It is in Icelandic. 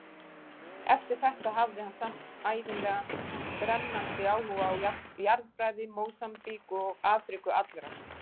Eftir þetta hafði hann samt ævinlega brennandi áhuga á jarðfræði Mósambík og Afríku allrar.